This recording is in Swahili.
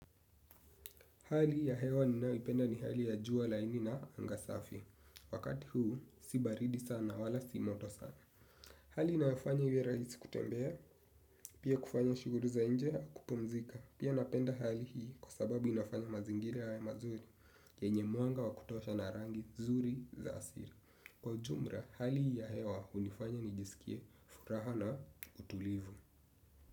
Hali ya hewa ninayoipenda ni hali ya jua laini na anga safi. Wakati huu, si baridi sana, wala si moto sana. Hali inayofanya iwe rahisi kutembea, pia kufanya shughuli za nje, kupumzika. Pia napenda hali hii kwa sababu inafanya mazingira yawe mazuri, yenye mwanga wa kutosha na rangi zuri za asili. Kwa ujumla, hali hii ya hewa hunifanya nijisikie furaha na utulivu.